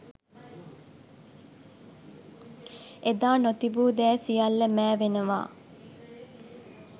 එදා නොතිබූ දෑ සියල්ල මෑවෙනවා